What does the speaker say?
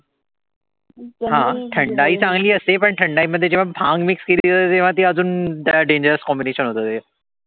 थंडाई चांगली असते पण थंडाई मध्ये जेव्हा भांग mix के्ली जाते तेव्हा ती अजुन dangerous combination होते.